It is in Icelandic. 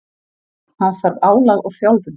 Hann þarf álag og þjálfun.